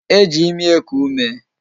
E ji ịmị eku ume